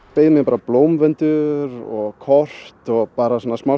beið mín bara blómvöndur og kort og bara svona smá